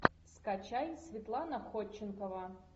скачай светлана ходченкова